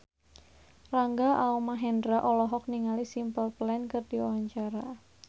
Rangga Almahendra olohok ningali Simple Plan keur diwawancara